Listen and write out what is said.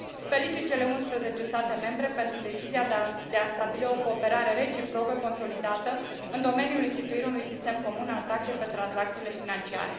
Felicit cele unsprezece state membre pentru decizia de a stabili o cooperare reciprocă consolidată în domeniul instituirii unui sistem comun al taxei pe tranzacțiile financiare.